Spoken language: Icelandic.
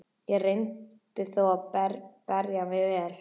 Ég reyndi þó að bera mig vel.